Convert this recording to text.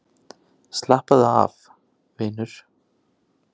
Slappaðu af, vinur.